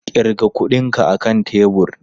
Ƙirga kuɗinka a kan tebur!